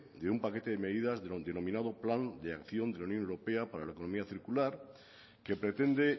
de un paquete de medidas del denominado plan de acción de la unión europea para la economía circular que pretende